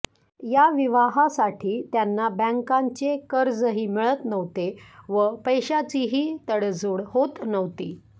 या विवाहासाठी त्यांना बँकांचे कर्जही मिळत नव्हते व पैशाचीही तडजोड होत नव्हती